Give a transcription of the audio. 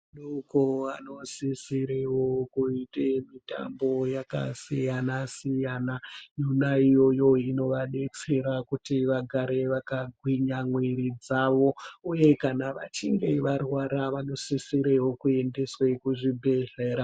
Adoko anosisirewo kuite mitambo yakasiyana siyana yona iyoyo inovadetsera kuti vagare vakagwinya mwiri dzavo uye kana vachinge varwara vanosisirewo kuendeswe kuzvibhedhlera.